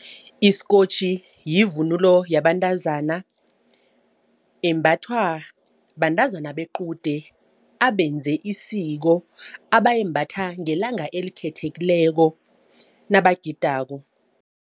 Isikotjhi yivunulo yabantazana embathwa bantazana bequde abenze isiko abayimbatha ngelanga elikhethekileko nabagidako.